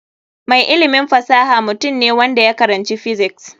Mai ilimin fasaha mutum ne wanda ya karanci physics.